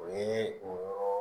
O ye o yɔrɔ